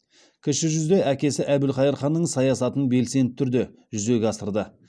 кіші жүзде әкесі әбілқайыр ханның саясатын белсенді түрде жүзеге асырды